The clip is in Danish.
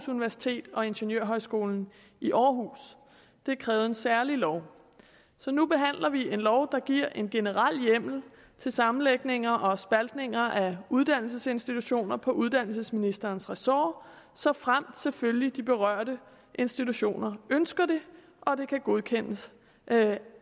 universitet og ingeniørhøjskolen i århus det krævede en særlig lov nu behandler vi en lov der giver en generel hjemmel til sammenlægninger og spaltninger af uddannelsesinstitutioner på uddannelsesministerens ressort såfremt selvfølgelig de berørte institutioner ønsker det og det kan godkendes